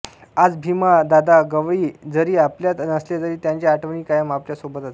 आज भीमा दादा गवळी जरी आपल्यात नसले तरी त्यांच्या आठवणी कायम आपल्या सोबतच आहे